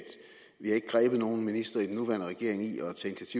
vi ikke har grebet nogen minister i den nuværende regering i at tage